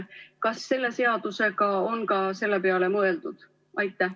Kas selle seaduseelnõuga on ka selle peale mõeldud?